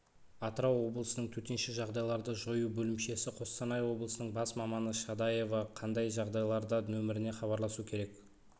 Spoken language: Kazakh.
атырау облысының төтенше жағдайларды жою бөлімшесі қостанай облысының бас маманы шадаева қандай жағдайларда нөміріне хабарласу керек